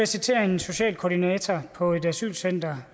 citere en socialkoordinator på et asylcenter